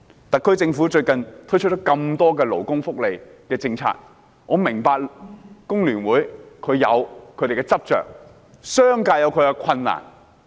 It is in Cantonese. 特區政府最近推出多項勞工福利政策，我明白工聯會有其執着之處，而商界也面對其困難。